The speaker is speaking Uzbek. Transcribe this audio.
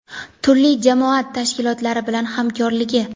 turli jamoat tashkilotlari bilan hamkorligi.